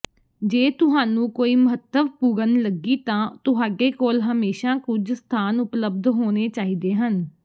ਜੇ ਤੁਹਾਨੂੰ ਕੋਈ ਮਹੱਤਵਪੂਰਣ ਲੱਗੀ ਤਾਂ ਤੁਹਾਡੇ ਕੋਲ ਹਮੇਸ਼ਾਂ ਕੁਝ ਸਥਾਨ ਉਪਲਬਧ ਹੋਣੇ ਚਾਹੀਦੇ ਹਨ